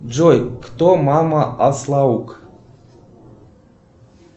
джой кто мама аслаук